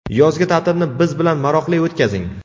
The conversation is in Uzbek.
Yozgi ta’tilni biz bilan maroqli o‘tkazing!.